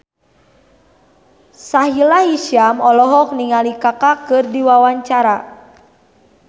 Sahila Hisyam olohok ningali Kaka keur diwawancara